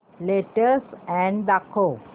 latest ad दाखव